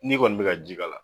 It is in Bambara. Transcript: N'i kɔni bi ka ji k'a la